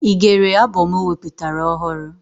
Ị gere abọm o wepụtara ọhụrụ?